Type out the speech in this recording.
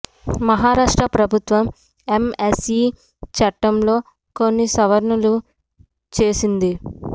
మహారాష్ట్ర ప్రభుత్వం ఎంఎస్ఈ చట్టంలో కొన్ని సవరణలు చేసింది